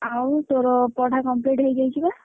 ଆଉ ତୋର ପଢା complete ହେଇଯାଇଛି ବା?